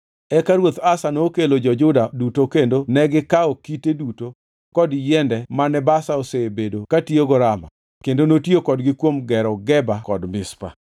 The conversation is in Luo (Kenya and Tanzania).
Eka Ruoth Asa nokelo jo-Juda duto kendo negikawo kite duto kod yiende mane Baasha osebedo katiyogo Rama kendo notiyo kodgi kuom gero Geba kod Mizpa.